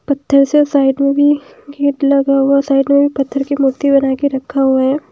पत्थर से साइड में भी गेट लगा हुआ साइड में भी पत्थर की मूर्ति बना के रखा हुआ है।